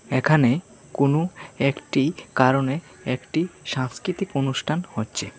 এখানে কোন একটি কারণে একটি সাংস্কৃতিক অনুষ্ঠান হচ্ছে।